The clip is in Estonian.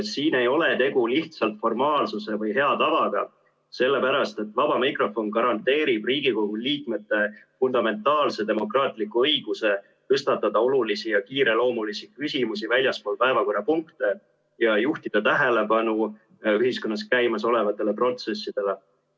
Siin ei ole tegu lihtsalt formaalsuse või hea tavaga, sellepärast et vaba mikrofon garanteerib Riigikogu liikmete fundamentaalse demokraatliku õiguse tõstatada olulisi ja kiireloomulisi küsimusi väljaspool päevakorrapunkte ja juhtida tähelepanu ühiskonnas käimasolevatele protsessidele.